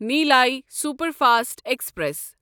Nellai superfast express